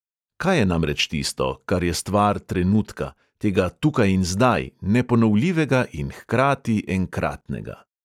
Kaj je namreč tisto, kar je stvar trenutka, tega "tukaj in zdaj", neponovljivega in hkrati enkratnega?